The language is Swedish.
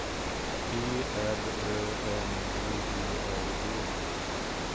G R Ö N B E R G